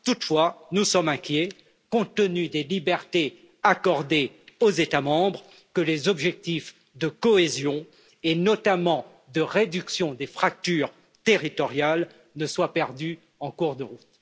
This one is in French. Toutefois, nous redoutons, compte tenu des libertés accordées aux États membres, que les objectifs de cohésion, et notamment de réduction des fractures territoriales, ne soient perdus en cours de route.